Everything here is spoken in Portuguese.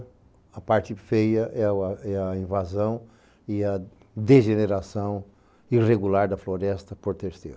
A parte feia é a invasão e a degeneração irregular da floresta por terceiro.